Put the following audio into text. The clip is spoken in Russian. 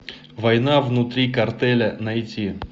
война внутри картеля найти